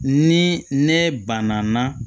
Ni ne banna